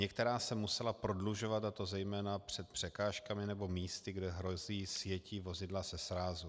Některá se musela prodlužovat, a to zejména před překážkami nebo místy, kde hrozí sjetí vozidla ze srázu.